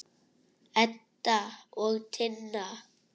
Edda og Tinna.